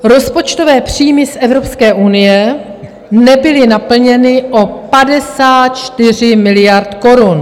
Rozpočtové příjmy z Evropské unie nebyly naplněny o 54 miliard korun.